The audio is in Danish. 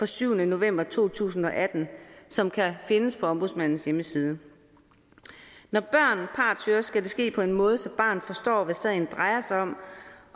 syvende november to tusind og atten som kan findes på ombudsmandens hjemmeside når børn partshøres skal det ske på en måde så barnet forstår hvad sagen drejer sig om